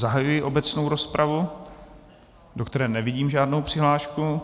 Zahajuji obecnou rozpravu, do které nevidím žádnou přihlášku.